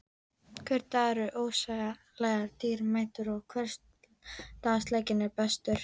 Hver dagur er ósegjanlega dýrmætur og hversdagsleikinn er bestur.